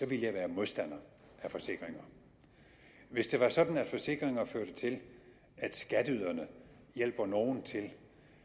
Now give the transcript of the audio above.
ville jeg være modstander af forsikringer hvis det var sådan at forsikringer førte til at skatteyderne hjalp nogle til at